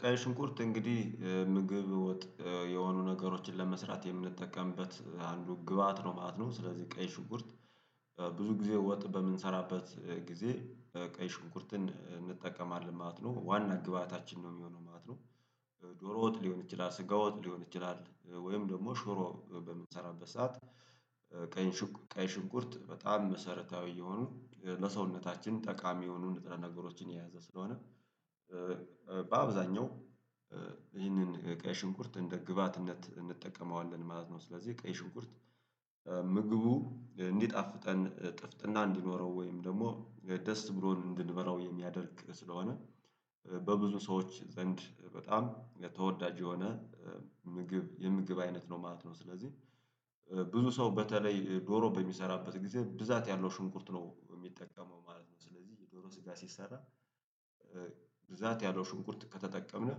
ቀይ ሽንኩርት እንግዲህ ምግብ ወጥ የሆኑ ነገሮችን ለመስራት የምንጠቀምበት አንዱ ግብአት ነው ማት ነው። ስለዚህ ቀይ ሽንኩርት ብዙ ጊዜ ወጥ በምንሰራበት ጊዜ ቀይ ሽንኩርትን እንጠቀማለን ማለት ነው። ዋና ግብአታችን ነው የሚሆነው ማለት ነው። ዶሮ ወጥ ሊሆን ይችላል ስጋ ወጥ ሊሆን ይችላል ወይም ደግሞ ሽሮ በምንሰራበት ሰዓት ቀኝ ቀይ ሽንኩርት በጣም መሰረታዊ የሆኑ ለሰውነታችን ጠቃሚ የሆኑ ንጥረ ነገሮችን የያዘ ስለሆነ በአብዛኛው ይህንን ቀይ ሽንኩርት እንደ ግብአትነት እንጠቀመዋለን ማለት ነው። ስለዚህ ቀይ ሽንኩርት ምግቡ እንዲጣፍጠን ጥፍጥና እንዲኖረው ወይም ደግሞ ደስ ብሎን እንድንበላው የሚያደርግ ስለሆነ በብዙ ሰዎች ዘንድ በጣም የተወዳጅ የሆነ ምግብ የምግብ አይነት ነው ማለት ነው። ስለዚህ ብዙ ሰው በተለይ ዶሮ በሚሰራበት ጊዜ ብዛት ያለው ሽንኩርት ነው የሚጠቀመው ማለት ነው። ስለዚህ የዶሮ ስጋ ሲሰራ ብዛት ያለው ሽንኩርት ከተጠቀምን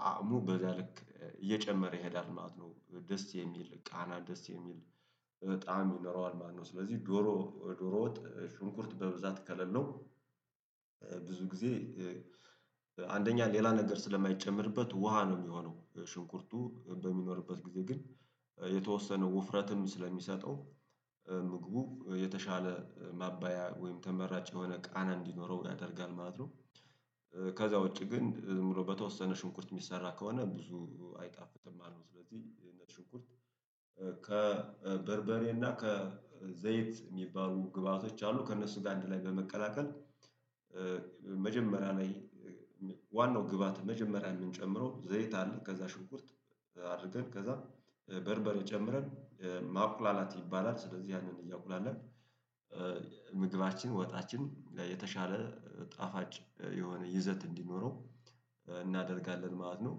ጣዕሙ በዛ ልክ እየጨመረ ይሄዳል ማለት ነው። ደስ የሚል ቃና ደስ የሚል ጣዕም ይኖረዋል ማለት ነው። ስለዚህ ዶሮ ዶሮ ወጥ ሽንኩርት በብዛት ከሌለው ብዙ ጊዜ አንደኛ ሌላ ነገር ስለማይጨመርበት ውሃ ነው የሚሆነው ሽንኩርቱ በሚኖርበት ጊዜ ግን የተወሰነ ውፍረትም ስለሚሰጠው ምግቡ የተሻለ ማባያ ወይም ተመራጭ የሆነ ቃና እንዲኖረው ያደርጋል ማለት ነው። ከዛ ውጪ ግን ዝም ብሎ በተወሰነ ሽንኩርት የሚሰራ ከሆነ ብዙ አይጣፍጥም ማለት ነው። ስለዚህ ነጭ ሽንኩርት ከበርበሬና ከዘይት የሚባሉ ግብአቶች አሉ ከእነሱ ጋር አንድ ላይ በመቀላቀል መጀመሪያ ላይ ዋናው ግብአት መጀመሪያ የምንጨምረው ዘይት አለ ከዛ ሽንኩርት አድርገን ከዛ በርበሬ ጨምረን ማቁላላት ይባላል ስለዚህ ያንን እያቁላለን ምግባችን ወጣችን የተሻለ ጣፋጭ የሆነ ይዘት እንዲኖረው እናደርጋለን ማለት ነው።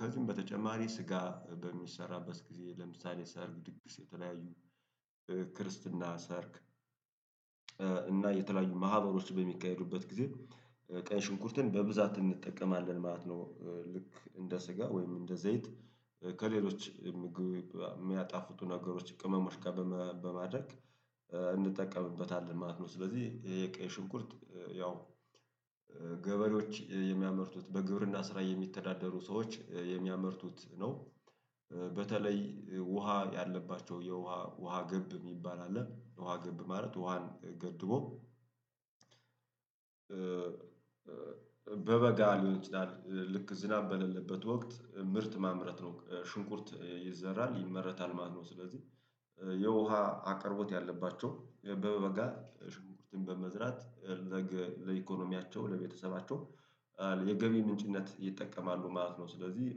ከዚህም በተጨማሪ ስጋ በሚሰራበት ጊዜ ለምሳሌ ሰርግ ድግስ የተለያዩ ክርስትና ሰርግ እና የተለያዩ ማህበሮች በሚካሄዱበት ጊዜ ቀይ ሽንኩርትን በብዛት እንጠቀማለን ማለት ነው። ልክ እንደ ስጋ ወይም እንደ ዘይት ከሌሎች ምግብ የሚያጣፉቱ ነገሮች ቅመሞች ጋር በማ በማድረግ እንጠቀምበ ማለት ነው። ስለዚህ የቀይ ሽንኩርት ያው ገበሬዎች የሚያመርቱት በግብርና ስራ የሚተዳደሩ ሰዎች የሚያመርቱት ነው። በተለይ ውሃ ያለባቸው የውሃ ውሃ ገብ የሚባል አለ። ውሃ ገብ ማለት ውሃን ገድቦ በበጋ ሊሆን ይችላል ልክ ዝናብ በሌለበት ወቅት ምርት ማምረት ነው። ሽንኩርት ይዘራል ይመረታል ማለት ነው። ስለዚህ የውሃ አቅርቦት ያለባቸው በበጋ ሽንኩርትን በመዝራት ለኢኮኖሚያቸው ለቤተሰባቸው የገቢ ምንጭነት ይጠቀማሉ ማለት ነው። ስለዚህ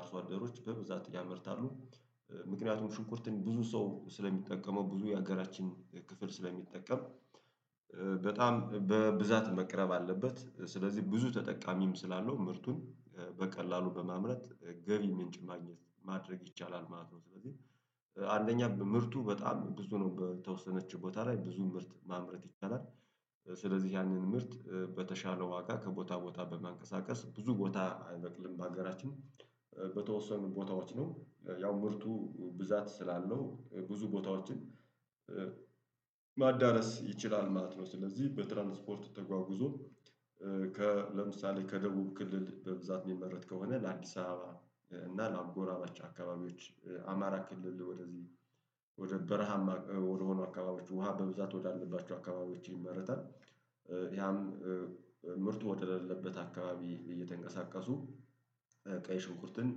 አርሶ አደሮች በብዛት ያመርታሉ። ምክንያቱም ሽንኩርትን ብዙ ሰው ስለሚጠቀመው ብዙ የሀገራችን ክፍል ስለሚጠቀም በጣም በብዛት መቅረብ አለበት። ስለዚህ ብዙ ተጠቃሚም ስላለው ምርቱን በቀላሉ በማምረት ገቢ ምንጭ ማግኘት ማድረግ ይቻላል ማለት ነው። ስለዚህ አንደኛ ምርቱ በጣም ብዙ ነው በተወሰነች ቦታ ላይ ብዙ ምርት ማምረት ይቻላል። ስለዚህ ያንን ምርት በተሻለ ዋጋ ከቦታ ቦታ በማንቀሳቀስ ብዙ ቦታ አይበቅልም በሀገራችን በተወሰኑ ቦታዎች ነው ያው ምርቱ ብዛት ስላለው ብዙ ቦታዎችን ማዳረስ ይችላል ማለት ነው። ስለዚህ በትራንስፖርቱ ተጓጉዞ ከለምሳሌ ከደቡብ ክልል በብዛት የሚመረት ከሆነ ለአዲስ አበባ እና ለአጎራባች አካባቢዎች አማራ ክልል ወደዚህ ወደ በረሃም ወደሆኑ አካባቢዎች ውሃ በብዛት ወዳለባቸው አካባቢዎች ይመረታል። ያም ምርቱ ወደሌለበት አካባቢ እየተንቀሳቀሱ ቀይ ሽንኩርትን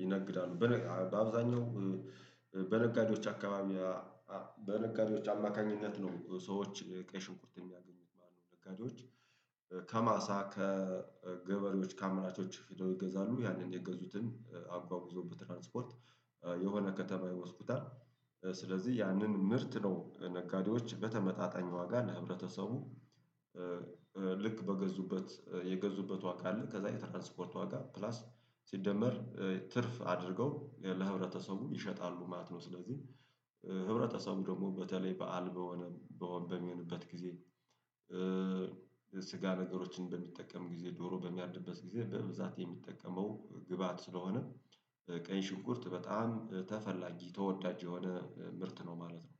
ይነግዳሉ። በነ በአብዛኛው በነጋዴዎች አካባቢ በነጋዴዎች አማካኝነት ነው ሰዎች ቀይሽንኩት የሚያገኙት ማለት ነው ነጋዴዎች ከማሳ ከገበሬዎች ከአምራቾች ሂደው ይገዛሉ ያንን የገዙትን አጓጉዘው በትራንስፖርት የሆነ ከተማ ይወስዱታል ስለዚህ ያንን ምርት ነው ነጋዴዎች በተመጣጣኝ ዋጋ ለህብረተሰቡ ልክ በገዙበት የገዙበት ዋጋ አለ ከዛ የትራንስፖርት ዋጋ ፕላስ ሲደመር ትርፍ አድርገው ለህብረተሰቡ ይሸጣሉ ማለት ነው። ስለዚህ ህብረተሰቡ ደግሞ በተለይ በዓል በሆነ በሆ በሚሆንበት ጊዜ ስጋ ነገሮችን በሚጠቀም ጊዜ ዶሮ በሚያርድበት ጊዜ በብዛት የሚጠቀመው ግብአት ስለሆነ ቀይ ሽንኩርት በጣም ተፈላጊ ተወዳጅ የሆነ ምርት ነው ማለት ነው።